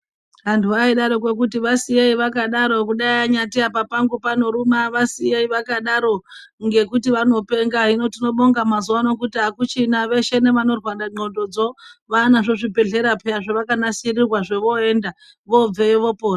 Antu vaidaroko kuti vasiyei vakadaro kudai anyati apa pangu panoruma vasiyei vakadaro ngekuti vanopenga hino tinobonga ngekuti akuchina veshe nevanorwara ndxondodzo vanazvo zvibhedhlera zvavakanasirirwa zvovoenda vobveyo vopona.